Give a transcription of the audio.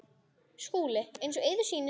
SKÚLI: Eins og yður sýnist.